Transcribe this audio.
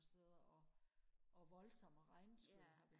nogle steder og og volsomme regnskyld